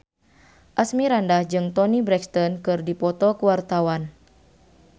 Asmirandah jeung Toni Brexton keur dipoto ku wartawan